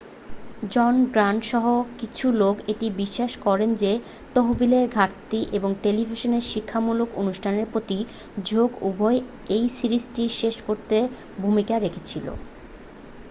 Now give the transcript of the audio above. জন Grant সহ কিছু লোক এটি বিশ্বাস করে যে তহবিলের ঘাটতি এবং টেলিভিশনে শিক্ষামূলক অনুষ্ঠানের প্রতি ঝোঁক উভয়ই এই সিরিজটি শেষ করতে ভূমিকা রেখেছিল